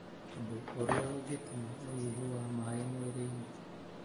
ũndũ ũrĩa ũngĩtũma ũnyihu wa maĩ mwĩrĩ-inĩ.